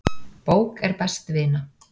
Bók er best vina.